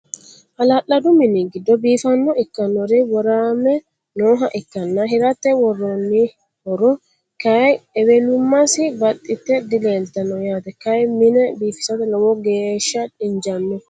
Hala'ladu minni giddo biiffaho ikkannori worame nooha ikkanna hiratte woroonnihoro Kay ewelummassi baxxitte dileelittanno yaatte. Kay mine biiffisatte lowo geeshsha injjaanno